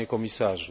Panie komisarzu!